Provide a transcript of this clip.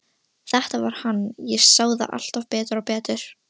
Þetta var hann, ég sá það alltaf betur og betur.